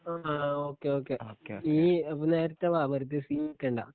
ആ okay okay നീ അപ്പൊ നേരത്തെ വാ വെർതെ സീന്ക്കണ്ട